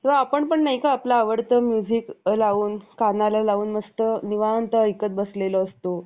एकनाथजीचा जन्म सोळाव्या शतकाच्या उत्तार्धात मराठी देशस्थ ऋग्वेदी ब्राम्हण घरात झाला. त्यांनी एक विराजीचे पुजारी म्हणून काम केले. एकनाथजीची सुरवात,